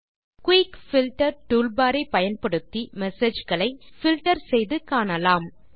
quick filter toolbar ஐ பயன்படுத்தி messageகளை பில்ட்டர் செய்து காணலாம்